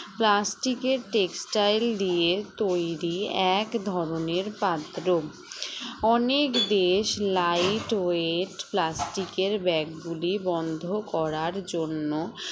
plastic এর textile দিয়ে তৈরি এক ধরনের পাত্র অনেক দেশ light weight plastic এর bag গুলি বন্ধ করার জন্য